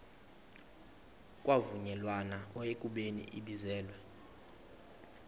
kwavunyelwana ekubeni ibizelwe